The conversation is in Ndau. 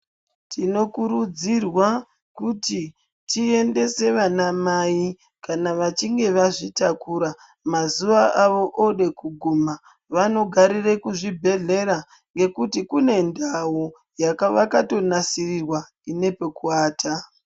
Tinokurudzirwa kuti tiendese vanamai kana vachinge vazvitakura mazuva avo ode kuguma vanogarire kuzvibhedhlera ngekuti kune ndau yakavakato nasirirwa ine pekuwata.